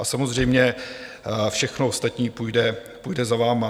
A samozřejmě, všechno ostatní půjde za vámi.